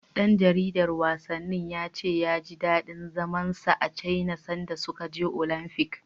Ɗan jaridar wasannin ya ce ya ji daɗin zaman sa a Caina sanda suka je Olamfik.